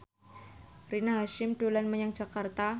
Rina Hasyim dolan menyang Jakarta